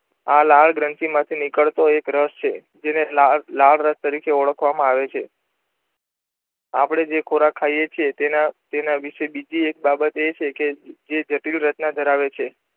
આ લાળગ્રંથિ માંથી નીકળતો એક રસ છે જેને લાળરસ તરીકે ઓળખવામાં આવે છે આપણે જે ખોરાક ખાઈએ છીએ તેના વિષે બીજી એક બાબત એ છે કે જે જટીલ રચના ધરાવે છે.